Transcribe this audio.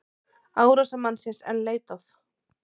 Árásarmannsins enn leitað